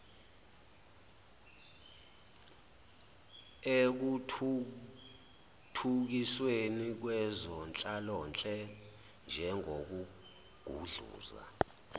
ekuthuthukisweni kwezenhlalonhle njengokugudluza